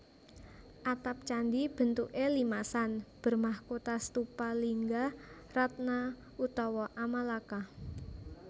Atap candi bentuké limasan bermahkota stupa lingga ratna utawa amalaka